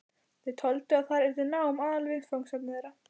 Þau töldu að þar yrði nám aðalviðfangsefni þeirra.